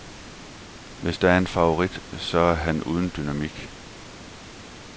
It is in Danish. Hvis der er en favorit, så er han uden dynamik.